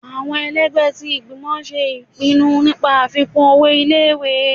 Awọn èlẹgbẹ ti ìgbímò ṣe ipínnú nipá afikun ọwọ ìlé-ìwé